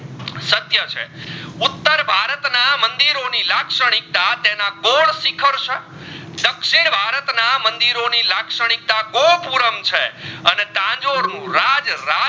ના મંદિરો ની લક્ષણીકતા તેના સિખર દક્ષિણ ભારત ના મંદિરો ની લક્ષણીકતા ગોપુરમ છે અને તાજો રૂ રાજ રાત